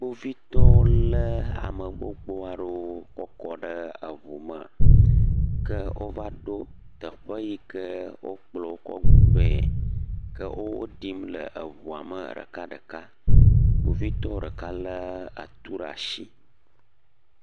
Kpovitɔwo lé ame gbogbo aɖewo kɔ kɔ ɖe eŋume. Ke wova ɖo teƒe yi ke wokplɔ wo kɔ vɛ. Ke wo woɖim le eŋua me ɖekaɖeka. Kpovitɔ ɖeka lé atu ɖe ashi.